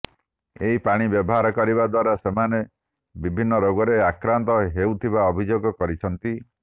ଏହି ପାଣି ବ୍ୟବହାର କରିବା ଦ୍ୱାରା ସେମାନେ ବିଭିନ୍ନ ରୋଗରେ ଆକ୍ରାନ୍ତହେଉଥିବା ଅଭିଯୋଗ କରିଛନ୍ତି